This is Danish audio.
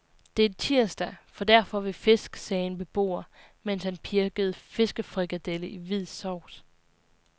Det er tirsdag, for der får vi fisk sagde en beboer, mens han pirkede fiskefrikadelle i hvid sovs.